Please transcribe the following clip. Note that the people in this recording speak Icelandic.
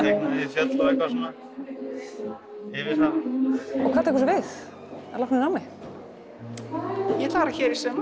fjöll og eitthvað svona yfir það hvað tekur svo við að loknu námi ég ætla að